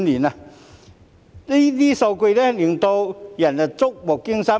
這些數據令人觸目驚心。